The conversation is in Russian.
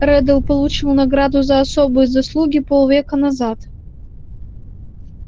реддл получил награду за особые заслуги полвека назад